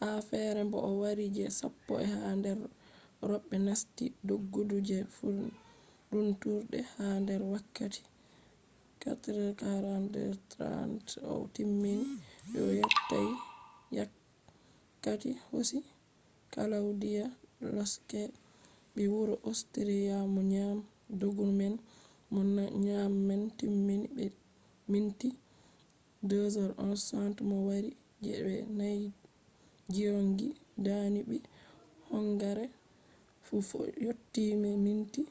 ha fere bo o wari je sappo ha nder roɓe nasti doggudu je furundurde ha nder wakkati 4:42.30 o timmini o yottai wakkati hosi klawdiya losek ɓii wuro ostriya mo nyami doggudu man mo nyami man timmini be minti 2:11.60 bo mo wari je je nai giyongi dani ɓii hongare fu yottii be minti